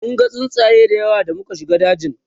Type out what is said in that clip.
munga tsuntsaye da yawa da muka shiga dajin